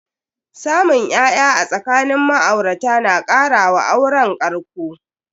Samun ya'ya a tsakanin ma'aurata na kara wa auren ƙarƙo.